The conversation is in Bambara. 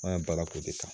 An ye baara k'o de kan